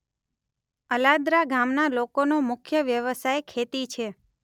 અલાદરા ગામના લોકોનો મુખ્ય વ્યવસાય ખેતી છે.